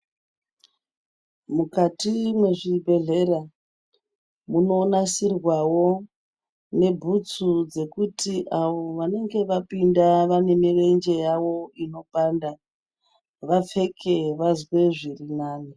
Mukati mwezvibhehlera munonasirwawo nebhutsu dzekuti avo vanenge vapinda vane mirenje yavo inopanda vapfeke vazwe zvirinani.